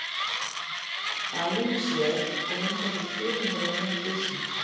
Halinn er sver og um það bil þriðjungur af lengd dýrsins.